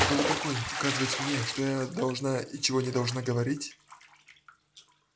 кто вы такой указывать мне что я должна и чего не должна говорить